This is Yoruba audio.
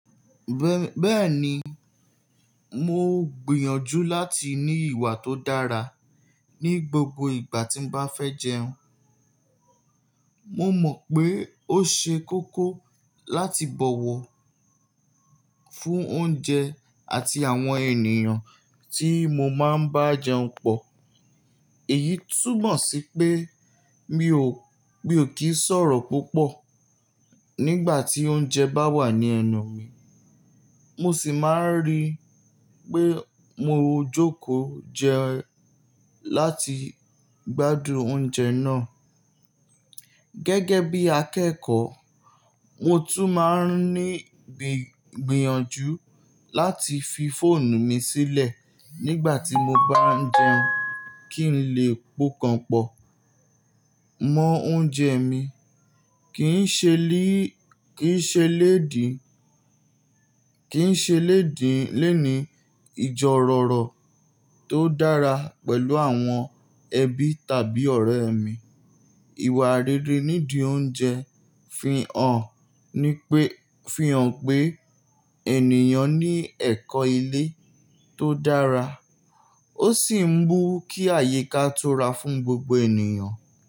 Bẹ́ẹ̀ni, mo gbìyànjú láti ní ìwà tó dára ní gbogbo ìgbà tí mo bá fẹ́ jẹun. Mo mọ̀ pé ó ṣe kókó láti bọ̀wọ̀ fún oúnjẹ àti àwọn ènìyàn tí mo máa ń bá jẹun pọ̀. Èyí túmọ̀ sí pé mi ò kí ń sọ̀rọ̀ púpọ̀ nígbà tí oúnjẹ bá wà ní ẹnu mi, mo sì máa ń rí pé mo jókòó jẹ láti gbádùn oúnjẹ náà. Gẹ́gẹ́ bí akẹ́kọ̀ọ́, mo tún máa ń ní gbìyànjú láti fi fóònù mi sílẹ̀ nígbà tí mo bá ń jẹun kí n lè pokan pọ̀ mọ́ oúnjẹ mi. Kìí ṣe lédìí léni ijorọ̀rọ̀ tó dára pẹ̀lú àwọn ẹbí tàbí ọ̀rẹ́ mi. Ìwà rere nídìí oúnjẹ fi hàn pé ènìyàn ní ẹ̀kọ́ ilé tó dára, ó sì ń mú kí àyíká tura fún gbogbo ènìyàn.